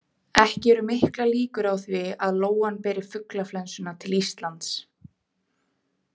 Ekki eru miklar líkur á því að lóan beri fuglaflensuna til Íslands.